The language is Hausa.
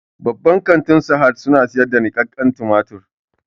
Babban kantin sahad su na sayar da niƙaken tumatir